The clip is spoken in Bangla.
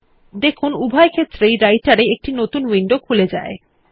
দেখুন উভয় ক্ষেত্রেই Writer এ একটি নতুন উইন্ডো খুলে যায়